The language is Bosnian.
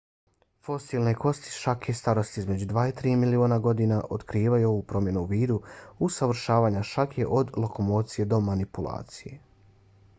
fosilne kosti šake starosti između dva i tri miliona godina otkrivaju ovu promjenu u vidu usavršavanja šake od lokomocije do manipulacije